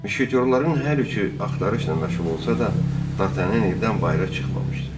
Müşketyorların hər üçü axtarışla məşğul olsa da, Dartanyan evdən bayıra çıxmamışdı.